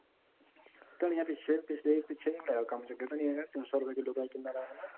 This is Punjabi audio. ਧਨੀਆ ਪਿੱਛੇ ਪਿੱਛੇ ਜੇ ਹੋਇਆ ਕੰਮ ਜਦ ਧਨੀਆ ਤਿੰਨ ਸੋ ਰੁਪੇ ਕਿੱਲੋ ਕਿੰਨਾ ਤਾ